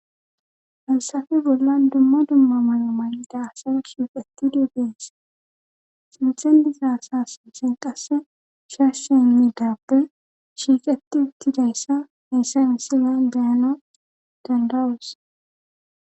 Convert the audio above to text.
falsafe bolla dumma dumma malamayi daasa shiiqetti dudees sinthen dizaasa sinthen qasse shashshi nmi daappe shiiqeti uttidayssa meessa misilan deyana dandawus